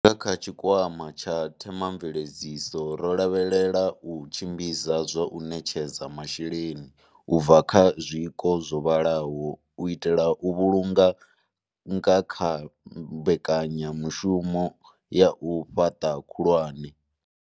Nga kha tshi kwama tsha themamveledziso ro lavhelela u tshimbidza zwa u ṋetshedza masheleni u bva kha zwiko zwo vhalaho u itela u vhulunga kha mbekanyamu shumo ya u fhaṱa khulwane.